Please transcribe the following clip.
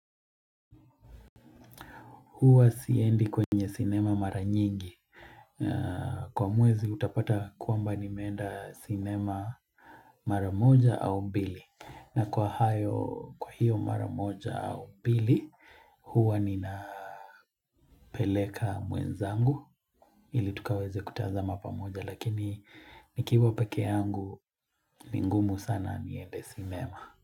Huwa siendi kwenye sinema mara nyingi. Kwa mwezi utapata kwamba nimeenda sinema mara moja au mbili. Na kwa hayo kwa hiyo mara moja au mbili, huwa ninapeleka mwenzangu. Ili tukaweze kutazama pamoja lakini nikiwa peke yangu ni ngumu sana niende sinema.